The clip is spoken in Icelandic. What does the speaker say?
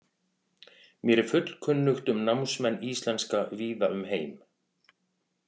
Mér er fullkunnugt um námsmenn íslenska víða um heim.